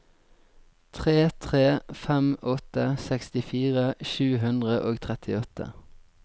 tre tre fem åtte sekstifire sju hundre og trettiåtte